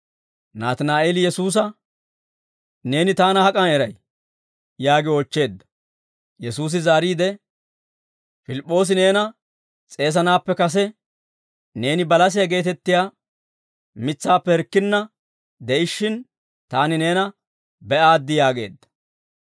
Naatinaa'eeli Yesuusa, «Neeni taana hak'an eray?» yaagi oochcheedda. Yesuusi zaariide, «Pilip'oosi neena s'eesanaappe kase, neeni balasiyaa geetettiyaa mitsaappe hirkkinna de'ishshin, taani neena be'aaddi» yaageedda.